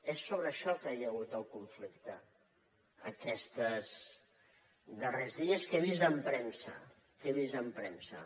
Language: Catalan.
és sobre això que hi ha hagut el conflicte aquests darrers dies que he vist en premsa que he vist en premsa